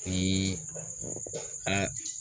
Ii